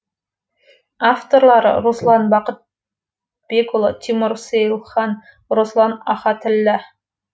авторлары руслан бақыт бекұлы тимур сейлхан руслан ахатіллә